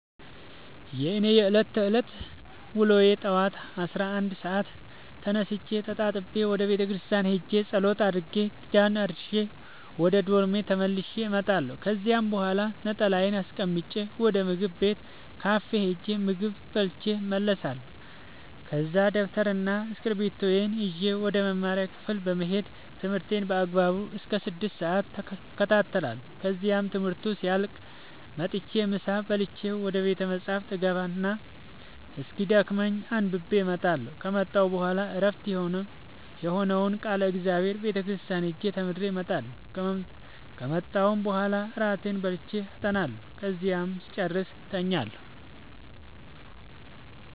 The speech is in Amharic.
የእኔ የዕለት ተዕለት ውሎዬ ጠዋት አስራ አንድ ሰአት ተነስቼ ተጣጥቤ ወደ ቤተክርስቲያን ሄጄ ጸሎት አድርሼ ኪዳን አድርሼ ወደ ዶርሜ ተመልሼ እመጣለሁ ከዚያ በኋላ ነጠላዬን አስቀምጬ ወደ ምግብ ቤት ካፌ ሄጄ ምግብ በልቼ እመለሳለሁ ከዛ ደብተርና እስኪብርቶዬን ይዤ ወደ መማሪያ ክፍሌ በመሄድ ትምህርቴን በአግባቡ እስከ ስድስት ሰአት እከታተላለሁ ከዚያም ትምህርቱ ሲያልቅ መጥቼ ምሳ በልቼ ወደ ቤተ መፅሀፍ እገባ እና እስኪደክመኝ አንብቤ እመጣለሁ ከመጣሁ በኋላ ዕረፍት የሆነውን ቃለ እግዚአብሔር ቤተ ክርስቲያን ሄጄ ተምሬ እመጣለሁ ከመጣሁም በኋላ እራቴን በልቼ አጠናለሁ ከዚያም ስጨርስ እተኛለሁ።